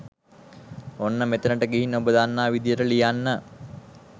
මෙන්න මෙතනට ගිහින් ඔබ දන්නා විදියට ලියන්න.